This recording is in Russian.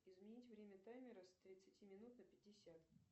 изменить время таймера с тридцати минут на пятьдесят